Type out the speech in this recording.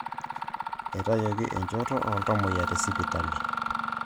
Etayioki enchoto oltamuoyia tesipitali